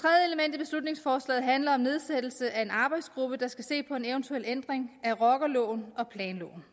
i beslutningsforslaget handler om nedsættelse af en arbejdsgruppe der skal se på en eventuel ændring af rockerloven og planloven